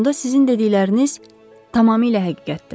Onda sizin dedikləriniz tamamilə həqiqətdir.